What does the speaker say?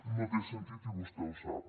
no té sentit i vostè ho sap